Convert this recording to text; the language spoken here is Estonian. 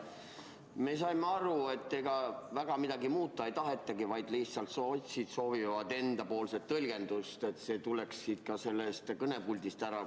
Me saime aru, et ega väga midagi muuta ei tahetagi, vaid sotsid lihtsalt soovivad, et nende enda tõlgendus siit kõnepuldist kuuldavaks saaks.